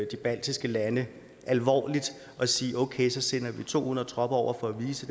de baltiske lande alvorligt og sige okay så sender vi to hundrede tropper over for at vise